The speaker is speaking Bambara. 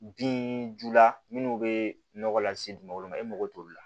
Binjula minnu bɛ nɔgɔ lase dugukolo ma e mako t'olu la